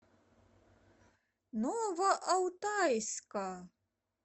новоалтайска